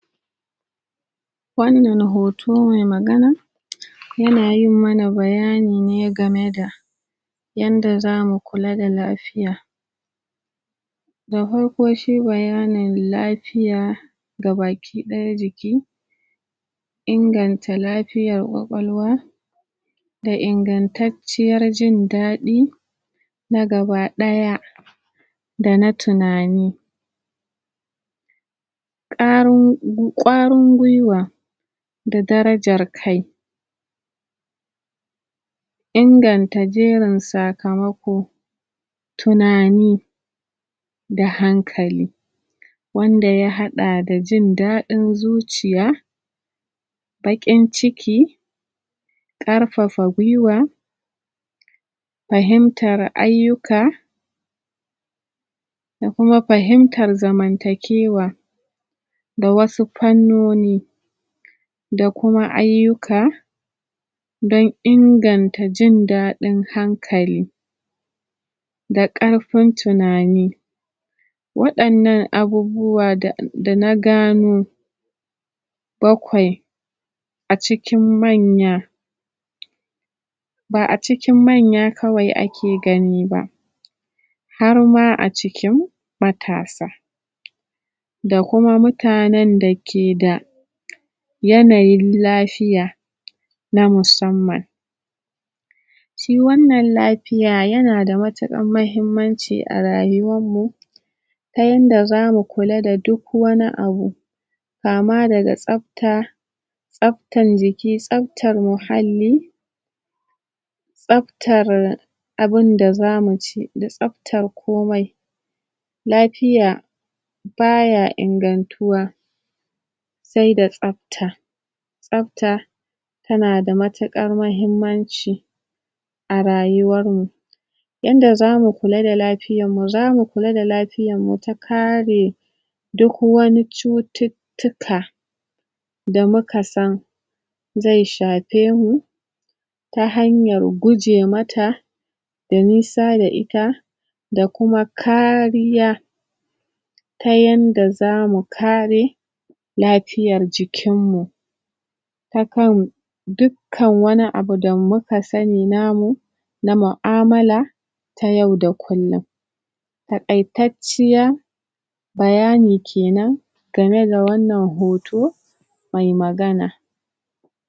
Wannan hoto mai magana yana yin mana bayani ne game da yanda zamu kula da lafiya da farko shi bayanin lafiya ga baki ɗaya jiki inganta lafiyar ƙwaƙwalwa da ingantacciyar jin daɗi na gaba ɗaya dana tunani ƙarin.. ƙwarin gwiwa da darajar kai inganta jerin sakamako tunani da hankali wanda ya haɗa da jin daɗin zuciya baƙin ciki ƙarfafa gwiwa fahimtar ayyuka da kuma fahimtar zamantakewa da wasu fannoni da kuma ayyuka dan inganta jin daɗin hankali ga ƙarfin tunani waɗannan abubuwa da dana gano bakwai acikin manya ba'a cikin manya kawai ake gani ba harma acikin matasa da kuma mutanan dake da yanayin lafiya na musamman shi wannan lafiya yanada ma tuƙar mahimmanci a rayuwar mu ta yanda zamu kula da duk wani abu kama daga tsafta tsaftan jiki, tsaftar muhalli tsaftar abunda zamu ci tsaftar komai lafiya baya ingantuwa sai da tsafta tsafta tanada matuƙar mahimmanci a rayuwar mu yanda zamu kula da lafiyar mu zamu kula da lafiyar mu ta karee duk wani cutut tuka da muka san zai shafe mu ta hanyar guje mata domin sa da ita da kuma kaariya ta yanda zamu kare lafiyar jikin mu ta kan duk kan wani abu da muka sanni namu na mu'amala ta yau da kullum taƙaitacciya bayani kenan game da wannan hoto mai magana